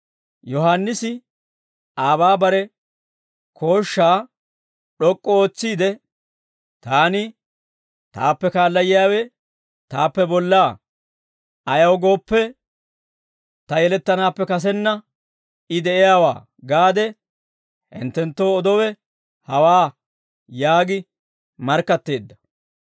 Yohaannisi aabaa bare kooshshaa d'ok'k'u ootsiide, «Taani, ‹Taappe kaala yiyaawe taappe bollaa; ayaw gooppe, ta yeletanaappe kasenna I de'iyaawaa› gaade hinttenttoo odowe hawaa» yaagi markkatteedda.